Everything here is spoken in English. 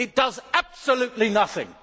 It does absolutely nothing.